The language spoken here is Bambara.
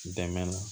Dɛmɛ na